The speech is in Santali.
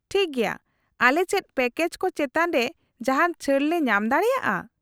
-ᱴᱷᱤᱠ ᱜᱮᱭᱟ ᱾ ᱟᱞᱮ ᱪᱮᱫ ᱯᱮᱠᱮᱡ ᱠᱚ ᱪᱮᱛᱟᱱ ᱨᱮ ᱡᱟᱦᱟᱱ ᱪᱷᱟᱹᱲ ᱞᱮ ᱧᱟᱢ ᱫᱟᱲᱮᱭᱟᱜᱼᱟ ?